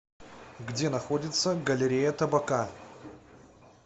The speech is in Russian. где находится галерея табака